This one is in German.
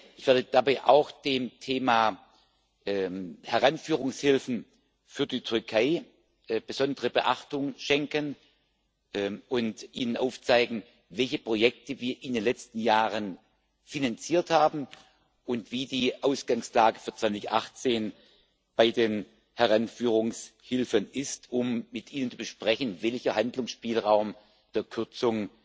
Ich werde dabei auch dem Thema Heranführungshilfen für die Türkei besondere Beachtung schenken und Ihnen aufzeigen, welche Projekte wir in den letzten Jahren finanziert haben und wie die Ausgangslage für 2018 bei den Heranführungshilfen ist, um mit Ihnen zu besprechen, welcher Handlungsspielraum der Kürzung